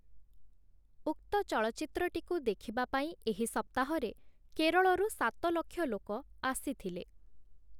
ଉକ୍ତ ଚଳଚ୍ଚିତ୍ରଟିକୁ ଦେଖିବା ପାଇଁ ଏହି ସପ୍ତାହରେ କେରଳରୁ ସାତ ଲକ୍ଷ ଲୋକ ଆସିଥିଲେ ।